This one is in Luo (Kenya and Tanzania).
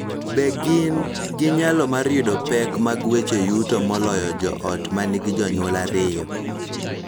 Be gin gi nyalo mar yudo pek mag weche yuto moloyo joot ma nigi jonyuol ariyo,